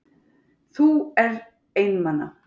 Þú er einmana.